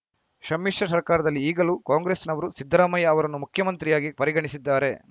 ಶಮ್ಮಿಶ್ರ ಸರ್ಕಾರದಲ್ಲಿ ಈಗಲೂ ಕಾಂಗ್ರೆಸ್‌ನವರು ಸಿದ್ದರಾಮಯ್ಯ ಅವರನ್ನು ಮುಖ್ಯಮಂತ್ರಿಯಾಗಿ ಪರಿಗಣಿಸಿದ್ದಾರೆ